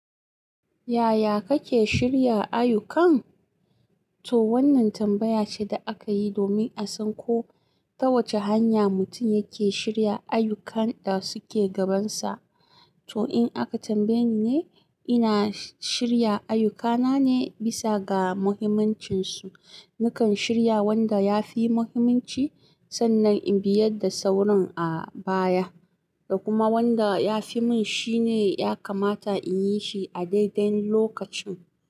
Yaya kake shirya ayyukan? To wannan tambaya ce da aka yi domin a san ko ta wace hanya mutum yake shirya ayyukan da suke gabansa. To in aka tambaye ni ne, ina shirya ayyukana ne bisa ga muhimmancinsu. Nakan shirya wanda ya fi muhimmanci sannan in biyar da sauran a baya. Da kuma wanda ya fi mun shine ya kamata in yi shi a daidai lokacin.